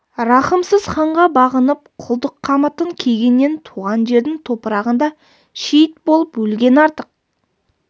рахымсыз ханға бағынып құлдық қамытын кигеннен туған жердің топырағында шейіт болып өлген артық